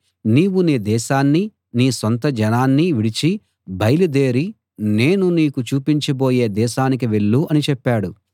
నీవు నీ దేశాన్నీ నీ సొంతజనాన్నీ విడిచి బయలుదేరి నేను నీకు చూపించబోయే దేశానికి వెళ్ళు అని చెప్పాడు